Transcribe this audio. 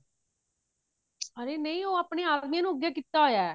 ਹਾਏ ਨਹੀਂ ਉਹ ਆਪਣੇ ਆਦਮੀ ਨੂੰ ਅੱਗੇ ਕੀਤਾ ਹੋਇਆ